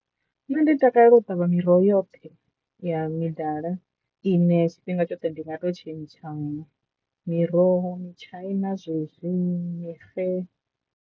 Nṋe ndi takalela u ṱavha miroho yoṱhe ya midala ine tshifhinga tshoṱhe ndi nga to tshentshana miroho mitshaina zwezwi mixe.